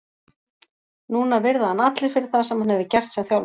Núna virða hann allir fyrir það sem hann hefur gert sem þjálfari.